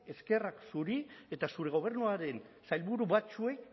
eskerrak zuri eta zure gobernuaren sailburu batzuei